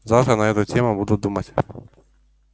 завтра на эту тему буду думать